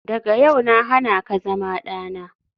Daga yau na hana ka zama dana.